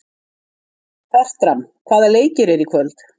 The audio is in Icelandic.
Fertram, hvaða leikir eru í kvöld?